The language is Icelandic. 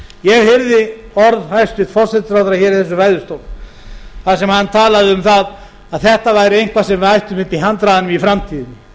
ég heyrði orð hæstvirts forsætisráðherra í þessum ræðustól þar sem hann talaði um að þetta væri eitthvað sem við ættum uppi í handraðanum í framtíðinni